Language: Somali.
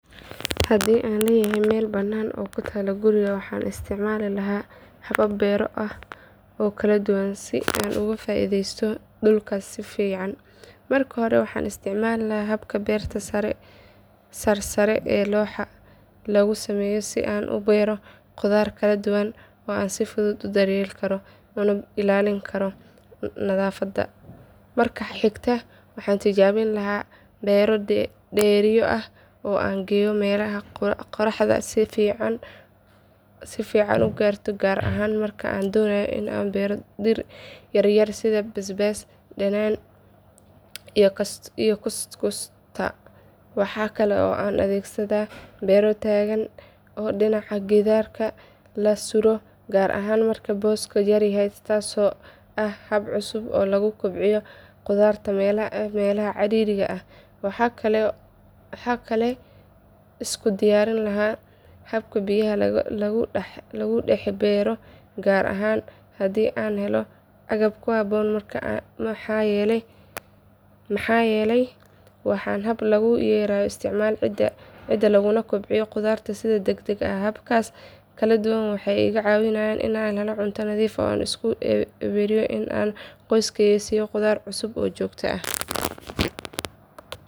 Hadi an letahay mel banan oo kutalo guriga waxan istacmali lahay habab bero ah, oo kaladuwan sii an oga faideysto dulka sifican marki hore waxan istacmali lahay habka berta sarr sare ee lagusameyo si an ubero qudar kaladuwan an si fudud udaryeli, karo una ilalini karo nadafata marka xigta waxa tijabini lahay bero diya ah aan geyo melaha qoraxda sifican ugarto gar ahan marka aan donayo inan bero dir yaryar, sidha bas bas danan iyo kusta mxan kale oo an adhegsada berar tagan oo dinaca gidarka lasuro gar ahan marka boska yaryahy hasta tasi oo ah hab cusub oo lagu kobciyo qudarta melaha caririga ah, waxa kale iskudiyarini laha habka biyaha lagu daxbero gar ahan hadi an helo agab karka kuhabon mxa yeley waxan hab lagu yareyo istacmala cida laguna gobciyo qudarta sidha deg deg ah habkas kaladuwan waxay igacawinayan inan helo cunto nadif ah oo iskubiriyo qoyskeyga siyan qudar cusub oo jogto ah.